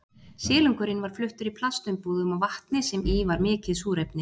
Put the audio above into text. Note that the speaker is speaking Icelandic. Silungurinn var fluttur í plastumbúðum og vatni sem í var mikið súrefni.